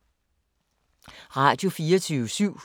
Radio24syv